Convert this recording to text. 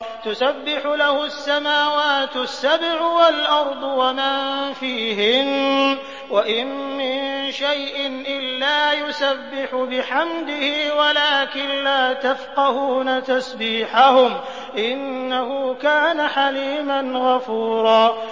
تُسَبِّحُ لَهُ السَّمَاوَاتُ السَّبْعُ وَالْأَرْضُ وَمَن فِيهِنَّ ۚ وَإِن مِّن شَيْءٍ إِلَّا يُسَبِّحُ بِحَمْدِهِ وَلَٰكِن لَّا تَفْقَهُونَ تَسْبِيحَهُمْ ۗ إِنَّهُ كَانَ حَلِيمًا غَفُورًا